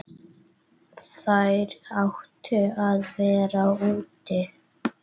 Þær áttu að vera úti.